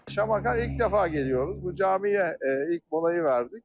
Şamaxıya ilk dəfə gəlirik, bu camiyə ilk molayı verdik.